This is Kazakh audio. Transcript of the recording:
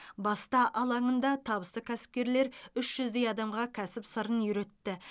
баста алаңында табысты кәсіпкерлер үш жүздей адамға кәсіп сырын үйретті